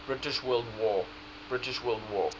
british world war